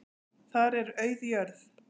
Þar er auð jörð.